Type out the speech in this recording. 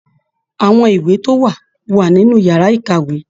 Àwọn ìwé tó n wá wà nínú yàrá ìkàwé.